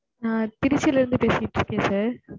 நான் திருச்சில இருந்து பேசிட்டு இருக்கேன் sir